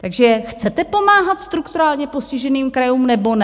Takže chcete pomáhat strukturálně postiženým krajům, nebo ne?